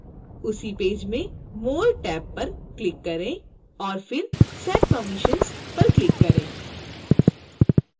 उसी पेज में more tab पर क्लिक करें और फिर set permissions पर क्लिक करें